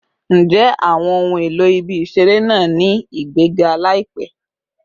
Njẹ awọn ohun elo ibi-iṣere naa ni igbega laipe?